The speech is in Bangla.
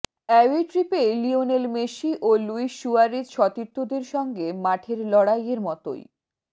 অ্যাওয়ে ট্রিপে লিওনেল মেসি ও লুইস সুয়ারেজ সতীর্থদের সঙ্গে মাঠের লড়াইয়ের মতোই